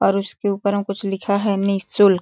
और उसके ऊपर में कुछ लिखा है निशुल्क--